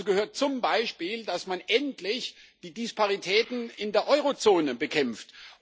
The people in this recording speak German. Dazu gehört zum Beispiel, dass man endlich die Disparitäten in der Eurozone bekämpft.